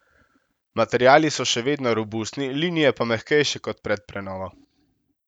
Materiali so še vedno robustni, linije pa mehkejše kot pred prenovo.